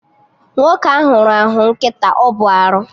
Nwoke ahụ rahụ nkịta, ọ bụ arụ